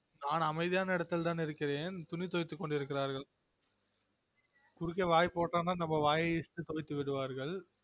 நான் அமைதியான இடத்தில் தான் இருக்கிறென் துணி துவைத்து கொண்டிருக்கீறார்கள் குறுக்கே வாய் போட்டனா நம்ம வாயை கிழித்து துவைத்து விடுவார்கள்